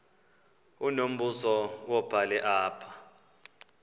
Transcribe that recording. unombuzo wubhale apha